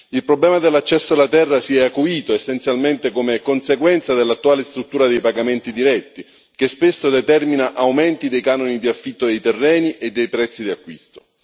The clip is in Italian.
Il problema dell'accesso alla terra si è acuito essenzialmente come conseguenza dell'attuale struttura dei pagamenti diretti, che spesso determina aumenti dei canoni di affitto dei terreni e dei prezzi di acquisto.